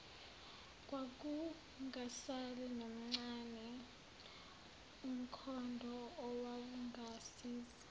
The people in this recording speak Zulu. kwakungasali nomncane umkhondoowawungasiza